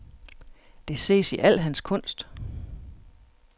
Det ses i al hans kunst.